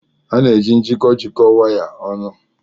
A na-eji njikọ jikọọ wires ọnụ.